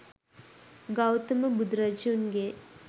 Gautama බුදුරජුන්ගේ